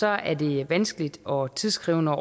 er det vanskeligt og tidskrævende